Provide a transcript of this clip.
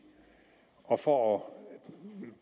og for at